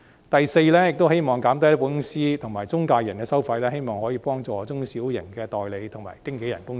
第四，希望減低保險公司與中介人的收費，以幫助中小型代理和經紀人公司。